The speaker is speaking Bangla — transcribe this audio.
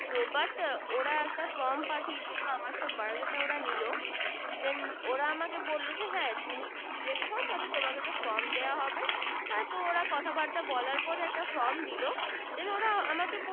তো But ওরা একটা From পাঠিয়েছিল আমার সব Bio data ওরা নিলো Then ওরা আমাকে বলল যে হ্যা তুমি Select হও তাইলে তোমাকে From দেওয়া হবে হ্যা ওরা কথা বার্তা বলার পর একটা From দিল Then ওরা আমাকে বল